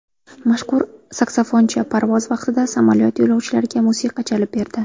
Mashhur saksafonchi parvoz vaqtida samolyot yo‘lovchilariga musiqa chalib berdi .